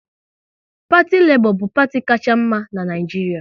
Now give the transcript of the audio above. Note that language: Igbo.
Parti Lebọ bu parti kacha mma n'Naijiria